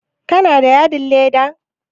Kana da yadin leda?